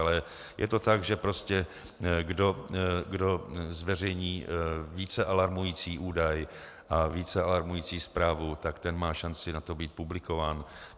Ale je to tak, že prostě kdo zveřejní více alarmující údaj a více alarmující zprávu, tak ten má šanci na to být publikován.